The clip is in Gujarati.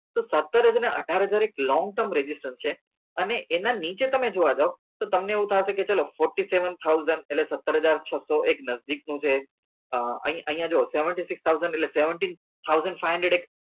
તો સત્તર હજાર ને અઢાર હજાર એક long term registration છે અને એના નીચે તમે જોવા જાવ તો તમને એવું થશે કે ચલો fourteen seven thousand એટલે સત્તર હજાર છસો એક નજદીક નું છે અ અહી અહિયાં જોવો seventy six thousand એટલે seventeen thousand five hunred